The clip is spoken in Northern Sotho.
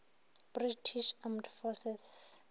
british armed forces